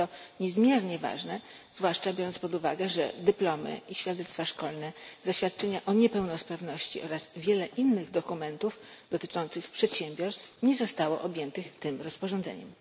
Jest to niezmiernie ważne, zwłaszcza biorąc pod uwagę, że dyplomy i świadectwa szkolne, zaświadczenia o niepełnosprawności oraz wiele innych dokumentów dotyczących przedsiębiorstw nie zostało objętych tym rozporządzeniem.